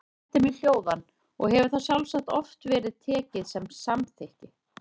Þá setti mig hljóðan og hefur það sjálfsagt oft verið tekið sem samþykki.